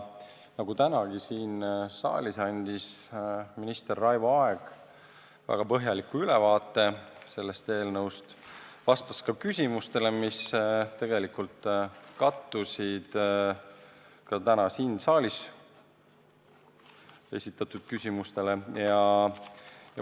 Nagu tänagi siin saalis, andis minister Raivo Aeg väga põhjaliku ülevaate sellest eelnõust ja vastas ka küsimustele, mis tegelikult kattusid täna siin saalis esitatud küsimustega.